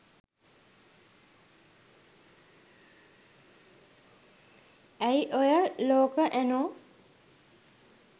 ඇයි ඔය ලෝක ඇනෝ